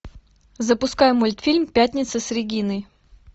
запускай мультфильм пятница с региной